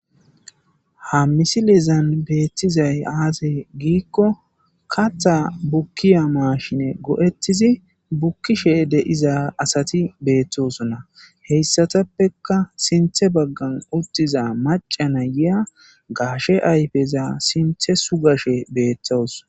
ha misilezan beettizay aze giikko katha bukkiya maashine go7ettizi bukkishe deiza asati beettosonna heyssatappeka sinthe baggan uttiza macana yiya gaashe ayfeza sinthe sugashe beettawus